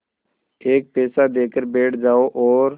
एक पैसा देकर बैठ जाओ और